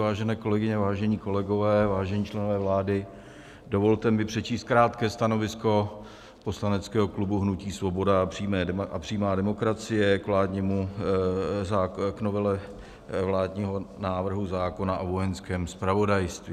Vážené kolegyně, vážení kolegové, vážení členové vlády, dovolte mi přečíst krátké stanovisko poslaneckého klubu hnutí Svoboda a přímá demokracie k novele vládního návrhu zákona o Vojenském zpravodajství.